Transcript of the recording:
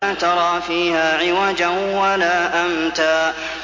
لَّا تَرَىٰ فِيهَا عِوَجًا وَلَا أَمْتًا